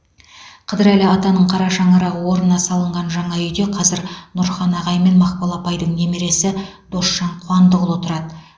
қыдырәлі атаның қара шаңырағы орнына салынған жаңа үйде қазір нұрхан ағай мен мақпал апайдың немересі досжан қуандықұлы тұрады